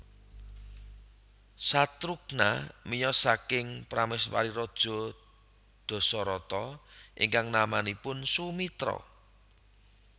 Satrughna miyos saking prameswari raja Dasarata ingkang namanipun Sumitra